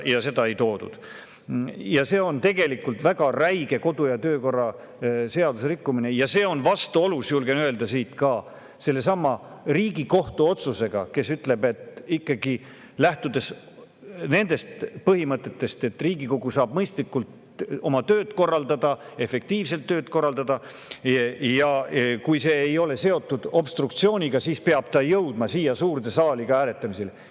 See on tegelikult väga räige kodu- ja töökorra seaduse rikkumine ja see on vastuolus, julgen siit öelda, ka sellesama Riigikohtu otsusega, mis ütleb, et lähtudes põhimõttest, et Riigikogu saama mõistlikult oma tööd korraldada, efektiivselt oma tööd korraldada,, et kui ei ole seotud obstruktsiooniga, siis peab ta jõudma siia suurde saali hääletamisele.